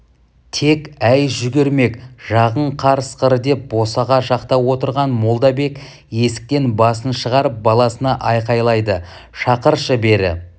тек-әй жүгірмек жағың қарысқыр деп босаға жақта отырған молдабек есіктен басын шығарып баласына айқайлады шақыршы бері